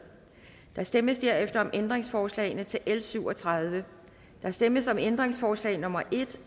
der stemmes derefter om ændringsforslagene til l syv og tredive der stemmes om ændringsforslag nummer en